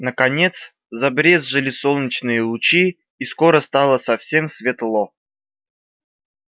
наконец забрезжили солнечные лучи и скоро стало совсем светло